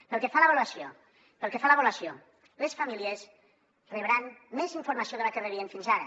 pel que fa a l’avaluació les famílies rebran més informació de la que rebien fins ara